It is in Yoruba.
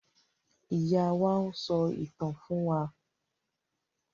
Ìyá wá n sọ ìtàn fún wà